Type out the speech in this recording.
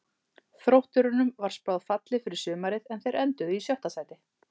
Þrótturum var spáð falli fyrir sumarið en þeir enduðu í sjöunda sæti.